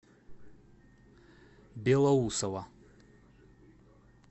белоусово